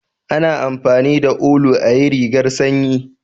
A na amfani da ulu ayi rigar sanyi